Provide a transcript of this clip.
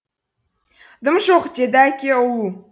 дым жоқ деді әке ұлу